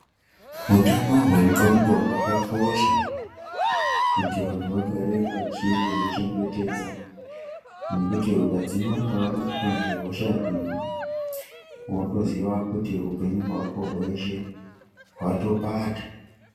Hutano hwendxondo hwakakosha kuti vantu vagare vachi kuchengetedza nekuti ukadzimara wabatwa nedenda iri wotoziva muti upenyu hwako hwese hwatopata.